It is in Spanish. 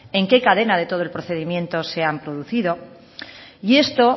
en qué cadena de todo el procedimiento se han producido y esto